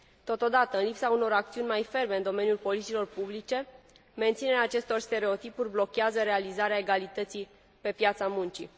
Totodată, în lipsa unor acțiuni mai ferme în domeniul politicilor publice, menținerea acestor stereotipuri blochează realizarea egalității pe piața muncii.